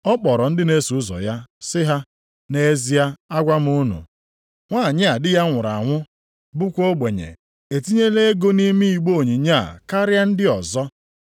Ọ kpọrọ ndị na-eso ụzọ ya sị ha, “Nʼezie agwa m unu, nwanyị a di ya nwụrụ anwụ, bụkwa ogbenye, etinyela ego nʼime igbe onyinye a karịa ndị ọzọ.